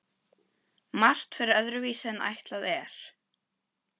Margt fer öðruvísi en ætlað er.